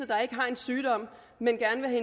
der ikke har en sygdom men gerne vil